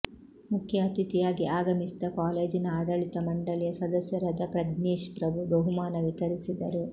ಮುಖ್ಯ ಅತಿಥಿಯಾಗಿ ಆಗಮಿಸಿದ್ದ ಕಾಲೇಜಿನ ಆಡಳಿತ ಮಂಡಳಿಯ ಸದಸ್ಯರಾದ ಪ್ರಜ್ನೇಶ್ ಪ್ರಭು ಬಹುಮಾನ ವಿತರಿಸಿದರು